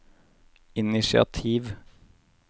initiativ